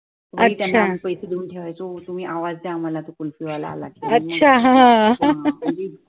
अच्छा अच्छा हा हा